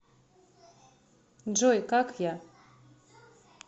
джой как я